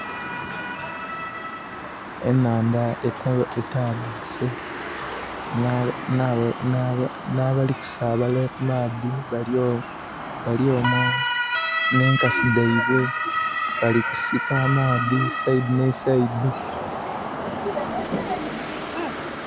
Enhaandha etaabuse, n'abali kusaabala ku maadhi bali omwo n'enkasi dhaibwe. Bali kusika amaadhi e side ne side.